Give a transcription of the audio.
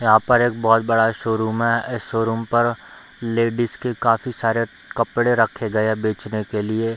यहाँ पर एक बहुत बड़ा शोरूम है इस शोरूम पर लेडिज के काफी सारे कपड़े रखे गए है बेचने के लिए ।